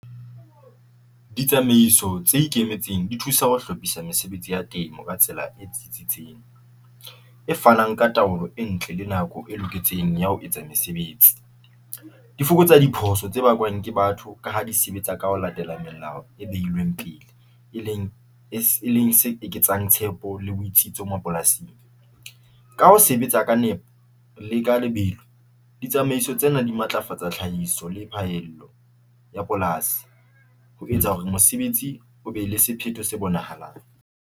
Ditsamaiso tse ikemetseng di thusa ho hlophisa mesebetsi ya temo ka tsela e tsitsitseng e fanang ka taolo e ntle le nako e loketseng ya ho etsa mesebetsi. Di fokotsa diphoso tsa ke batho ka ha di sebetsa ka ho latela melao e beilweng pele, e leng e leng se etsang tshepo le botsitso mapolasing ka ho sebetsa ka nepo le ka lebelo. Ditsamaiso tsena di matlafatsa tlhahiso le phaello ea polasi ho etsa hore mosebetsi o be le sephetho se bonahalang.